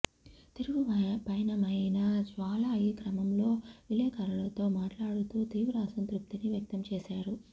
తిరుగుపయనమైన జ్వాలా ఈ క్రమంలో విలేకరులతో మాట్లాడుతూ తీవ్ర అసంతృప్తిని వ్యక్తంచేశారు